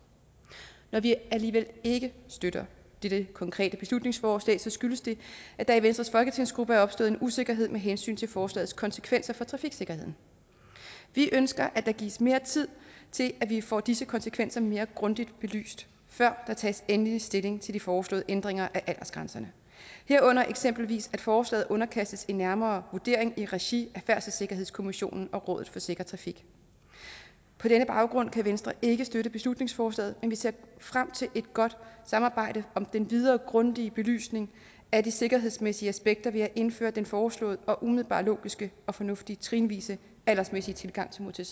når vi alligevel ikke støtter dette konkrete beslutningsforslag skyldes det at der i venstres folketingsgruppe er opstået en usikkerhed med hensyn til forslagets konsekvenser for trafiksikkerheden vi ønsker at der gives mere tid til at vi får disse konsekvenser mere grundigt belyst før der tages endelig stilling til de foreslåede ændringer af aldersgrænserne herunder eksempelvis at forslaget underkastes en nærmere vurdering i regi af færdselssikkerhedskommissionen og rådet for sikker trafik på denne baggrund kan venstre ikke støtte beslutningsforslaget men vi ser frem til et godt samarbejde om den videre grundige belysning af de sikkerhedsmæssige aspekter ved at indføre den foreslåede og umiddelbart logiske og fornuftige trinvise aldersmæssige tilgang til